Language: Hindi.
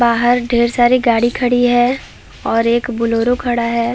बाहर ढेर सारी गाड़ी खड़ी है और एक बुल्लेरो खड़ा हैं ।